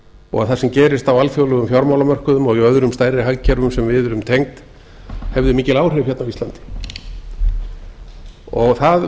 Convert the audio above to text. og það sem gerist á alþjóðlegum fjármálamörkuðum og öðrum stærri hagkerfum sem við erum tengd hefði mikil áhrif hérna á íslandi það